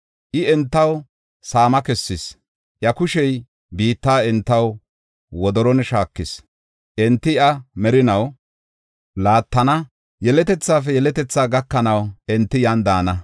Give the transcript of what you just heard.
I, entaw saama kessis; iya kushey biitta entaw wodoron shaakis; enti iya merinaw laattana; yeletethaafe yeletethaa gakanaw enti yan daana.